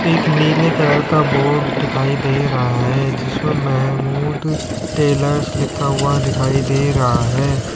एक नीले कलर का बोर्ड दिखाई दे रहा है जिस पर मेहमूद टेलर्स लिखा हुआ दिखाई दे रहा है।